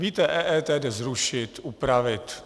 Víte, EET jde zrušit, upravit.